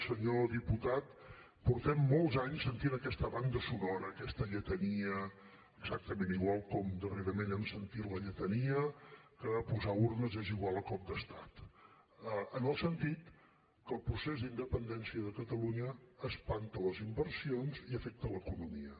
senyor diputat fa molts anys que sentim aquesta banda sonora aquesta lletania exactament igual com darrerament hem sentit la lletania que posar urnes és igual a cop d’estat en el sentit que el procés d’independència de catalunya espanta les inversions i afecta l’economia